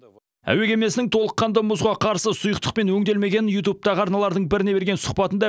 әуе кемесінің толыққанды мұзға қарсы сұйықтықпен өңделмегенін ютубтағы арналардың біріне берген сұхбатында